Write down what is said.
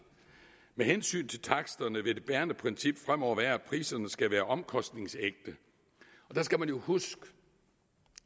med hensyn til taksterne vil det bærende princip fremover være at priserne skal være omkostningsægte der skal man huske